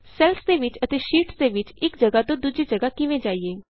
cells ਦੇ ਵਿਚ ਅਤੇ ਸ਼ੀਟਸ ਦੇ ਵਿਚ ਇਕ ਜਗਾਹ ਤੋਂ ਦੂਜੀ ਜਗਾਹ ਕਿਵੇਂ ਜਾਈਏ